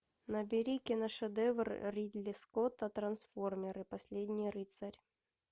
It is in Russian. набери киношедевр ридли скотта трансформеры последний рыцарь